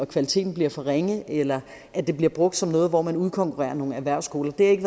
kvaliteten bliver for ringe eller at det bliver brugt som noget hvor man udkonkurrerer nogle erhvervsskoler det er ikke